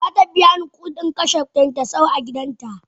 Zatabiyani kudin kashe kyankyasai a gidan ta.